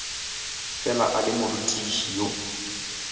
fela a le morutiši yo